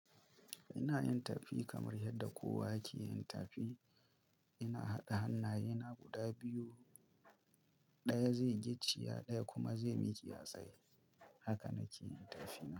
Ina yin tafi kamar yadda kowa yake yin tafi. Ina haɗa hannaye na guda biyu, ɗaya zai gicciya ɗaya kuma zai miƙe a tsaye. Haka nake yin tafi na.